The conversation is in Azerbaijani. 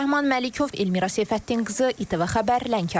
Rəhman Məlikov, Elnarə Səfəddin qızı, İTV Xəbər, Lənkəran.